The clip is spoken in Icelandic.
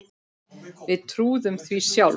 Við trúðum því sjálf.